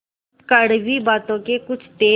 कड़वी बातों के कुछ तेज